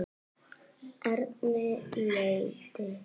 Erni létti.